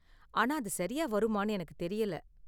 ஆனா, அது சரியா வருமான்னு எனக்கு தெரியல.